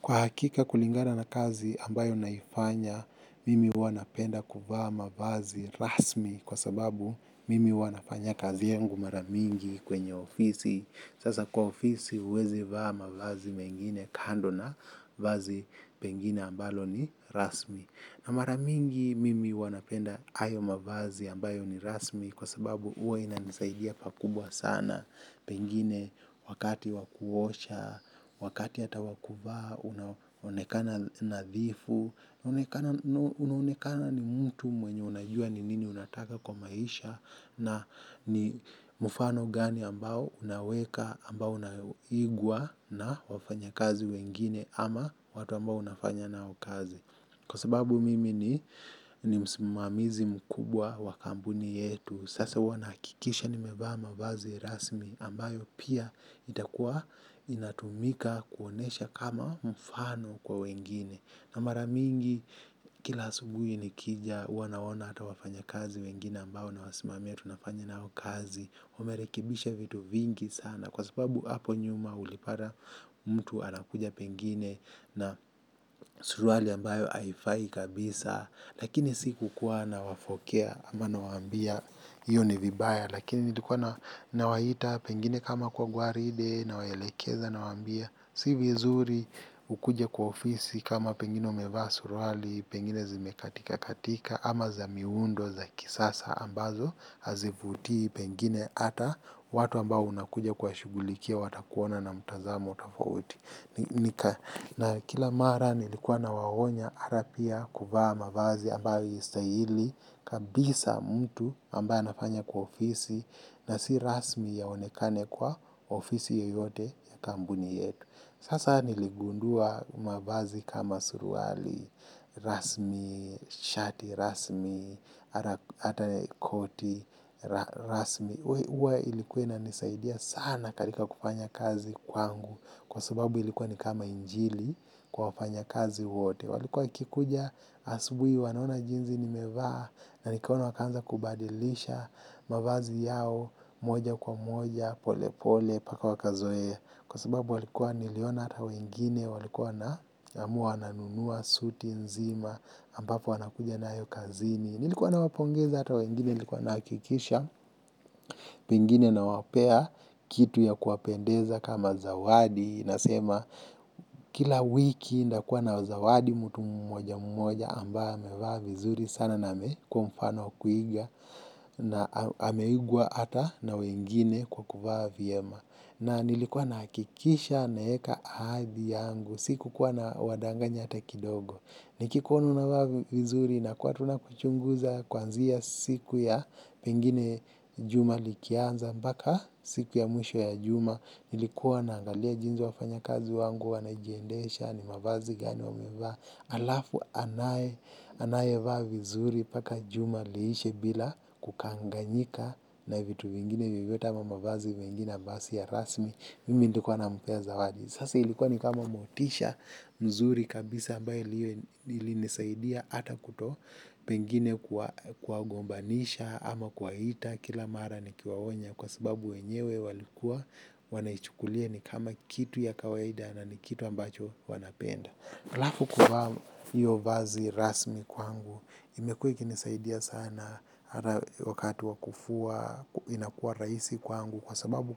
Kwa hakika kulingana na kazi ambayo naifanya, mimi huwa napenda kuvaa mavazi rasmi kwa sababu mimi huwa nafanya kazi yangu mara mingi kwenye ofisi. Sasa kwa ofisi huwezi vaa mavazi mengine kando na vazi pengine ambalo ni rasmi. Na mara mingi mimi huwa napenda hayo mavazi ambayo ni rasmi kwa sababu huwa inanisaidia pakubwa sana. Na pengine wakati wa kuosha, wakati hata wa kuvaa, unaokena nadhifu, unaonekana ni mtu mwenye unajua ni nini unataka kwa maisha na ni mfano gani ambao unaweka ambao unaigwa na wafanya kazi wengine ama watu ambao unafanya na kazi. Kwa sababu mimi ni msimamizi mkubwa wa kampuni yetu. Sasa huwa nahakikisha nimevaa mavazi rasmi ambayo pia itakuwa inatumika kuonesha kama mfano kwa wengine. Na mara mingi kila asubui nikija huwa naona hata wafanya kazi wengine ambayo nawasimamia tunafanya nao kazi wamerekibisha vitu vingi sana kwa sababu hapo nyuma ulipata mtu anakuja pengine na surwali ambayo haifai kabisa lakini si kukuwa nawafokea ama nawaambia hiyo ni vibaya lakini nilikuwa nawaita pengine kama kwa gwaride nawaelekeza nawaambia si vizuri kukuja kwa ofisi kama pengine umevaa surwali pengine zimekatika katika ama za miundo za kisasa ambazo hazivuti pengine hata watu ambao unakuja kuwashughulikia watakuona na mtazamo tofauti. Na kila mara nilikuwa nawaonya hata pia kuvaa mavazi ambayo haistahili kabisa mtu ambaye anafanya kwa ofisi na si rasmi yaonekane kwa ofisi yoyote ya kampuni yetu. Sasa niligundua mavazi kama suruali, rasmi, shati, rasmi, hata koti, rasmi. Huwa ilikuwa inanisaidia sana katika kufanya kazi kwangu kwa sababu ilikuwa ni kama injili kwa wafanya kazi wote walikuwa wakikuja asubuhi wanaona jinsi nimevaa na nikaona wakaanza kubadilisha mavazi yao moja kwa moja pole pole mpaka wakazoea kwa sababu walikuwa niliona hata wengine walikuwa wanaamua nanunua, suti nzima ambapo wanakuja nayo kazini nilikuwa nawapongeza hata wengine nilikuwa nahakikisha pengine nawapea kitu ya kuwapendeza kama zawadi nasema kila wiki nitakuwa nazawadi mtu mmoja mmoja ambaye amevaa vizuri sana na amekuwa mfano wa kuiga na ameigwa hata na wengine kwa kuvaa vilyema na nilikuwa nahakikisha naeka ahadi yangu sikukuwa nawadanganya hata kidogo nikikuona unavaa vizuri nakuwa tu nakuchunguza kuanzia siku ya pengine juma likianza moaka siku ya mwisho ya juma ilikuwa naangalia jinsi wafanya kazi wangu wanajiendesha ni mavazi gani wamevaa alafu anaye anayevaa vizuri paka juma liishe bila kukanganyika na vitu vingine vivyote ama mavazi mengine basi ya rasmi mimi nilikuwa nampea zawadi sasa ilikuwa ni kama motisha mzuri kabisa ambaye ilinisaidia hata kuto pengine kuwagombanisha ama kuwaita kila mara nikiwaonya kwa sababu wenyewe walikua wanaichukulia ni kama kitu ya kawaida na ni kitu ambacho wanapenda. Alafu kuvaa hiyo vazi rasmi kwangu imekuwa ikinisaidia sana wakati wa kufua inakua rahisi kwangu kwa sababu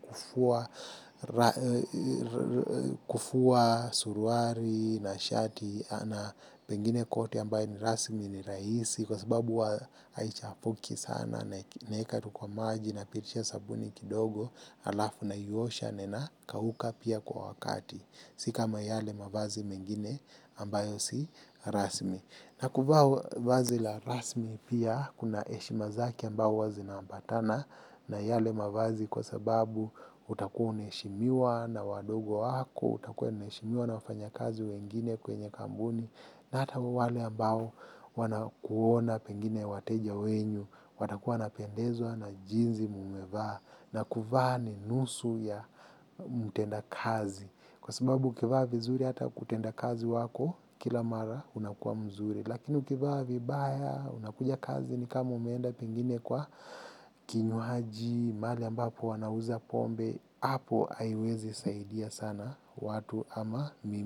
kufua suruali na shati na pengine koti ambaye ni rasmi ni rahisi kwa sababu wa haichapuki sana naeka tu kwa maji napitisha sabuni kidogo alafu naiosha na inakauka pia kwa wakati. Si kama yale mavazi mengine ambayo si rasmi. Na kuvaa vazi la rasmi pia kuna heshima zake ambao huwa zinaambatana na yale mavazi kwa sababu utakua unaheshimiwa na wadogo wako, utakua unaheshimiwa na wafanya kazi wengine kwenye kampuni. Na hata wale ambao wanakuona pengine wateja wenyu, watakuwa wanapendezwa na jinsi mumevaa, na kuvaa ni nusu ya mtenda kazi. Kwa sababu ukivaa vizuri hata kutenda kazi wako, kila mara unakua mzuri. Lakini ukivaa vibaya unakuja kazini kama umeenda pengine kwa kinywaji, mahali ambapo wanauza pombe, hapo haiwezi saidia sana watu ama mimi.